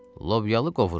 Lobyalı qovurma.